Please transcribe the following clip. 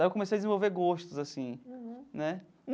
Aí eu comecei a desenvolver gostos assim né.